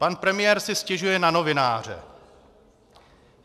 Pan premiér si stěžuje na novináře.